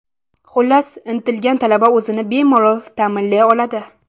Xullas, intilgan talaba o‘zini bemalol ta’minlay oladi.